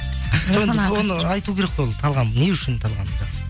айту керек қой ол талғам не үшін талғамы